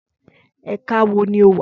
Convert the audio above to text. Ẹka wo ni o wa?